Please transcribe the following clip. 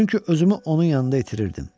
Çünki özümü onun yanında itirirdim.